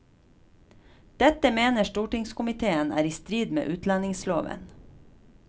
Dette mener stortingskomitéen er i strid med utlendingsloven.